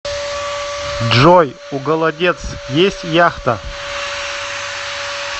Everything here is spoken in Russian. джой у голодец есть яхта